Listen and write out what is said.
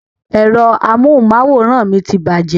Ẹ̀rọ amóhùnmáwòrán mi ti bàjẹ́